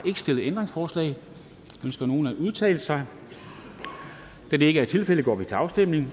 stillet ændringsforslag ønsker nogen at udtale sig da det ikke er tilfældet går vi til afstemning